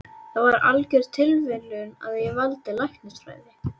Það var algjör tilviljun að ég valdi læknisfræði.